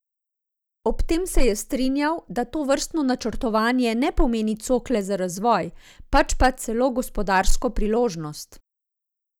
Ob tem se je strinjal, da tovrstno načrtovanje ne pomeni cokle za razvoj, pač pa celo gospodarsko priložnost.